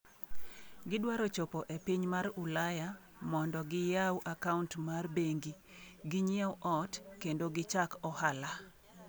“Gidwaro chopo e piny Ulaya mondo giyaw akaunt mar bengi, ginyiew ot kendo gichak ohala.”